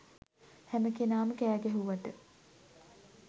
හැම කෙනාම කෑගැහුවට